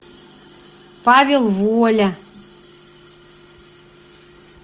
павел воля